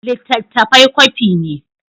Littattafai kwafi ne.